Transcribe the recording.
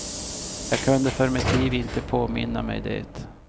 Jag kunde för mitt liv inte påminna mig det.